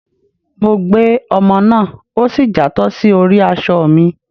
Mọ gbé omò náá, o sí játọ sí orí aṣọ mí